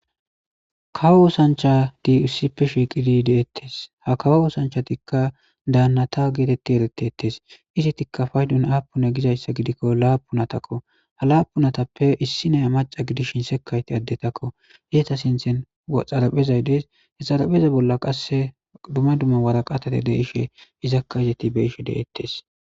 Kawo oosanchadi ussippe shiiqidi deettes ha kawo oosanchatikka daannata geetetti eretetes izitikka faydun aapuna gizayssa gidikko laapunatakko ha laapunatappe issi naya maca gidishin sekayti addetakko iyeta sinthen xaraphezay dees hexarapheza bolla qasse duma dumma waraqatate deishe izakka izeti beishe de'ettes.